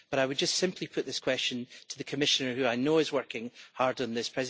But I would just simply put this question to the Commissioner, who I know is working hard on this.